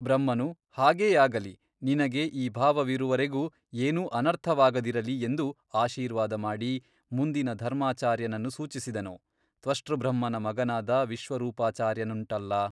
ಬ್ರಹ್ಮನು ಹಾಗೇ ಆಗಲಿ ನಿನಗೆ ಈ ಭಾವವಿರುವವರೆಗೂ ಏನೂ ಅನರ್ಥವಾಗದಿರಲಿ ಎಂದು ಆಶೀರ್ವಾದ ಮಾಡಿ ಮುಂದಿನ ಧರ್ಮಾಚಾರ್ಯನನ್ನು ಸೂಚಿಸಿದನು ತ್ವಷ್ಷೃಬ್ರಹ್ಮನ ಮಗನಾದ ವಿಶ್ವರೂಪಾಚಾರ್ಯನುಂಟಲ್ಲ.